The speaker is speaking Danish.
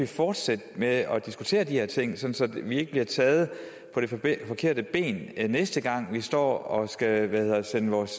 fortsætte med at diskutere de her ting sådan at vi ikke bliver taget på det forkerte ben næste gang vi står og skal sende vores